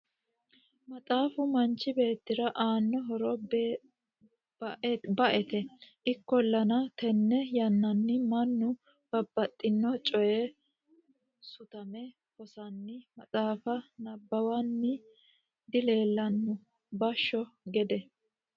maxaafu manchi beettira aannao horo baete ikkollana tenne yannanni mannu babbaxino coyii sutame hosanni maxaafa nabbawanni dileelanno bashsho gede .